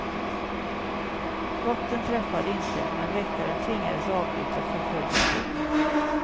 Skotten träffade inte, men väktaren tvingades avbryta förföljandet.